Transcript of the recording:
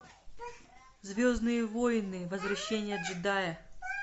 звездные войны возвращение джедая